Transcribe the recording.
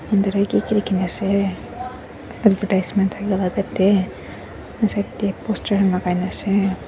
kiki likina ase advertisement dae aro side dae poster kan lakai na ase.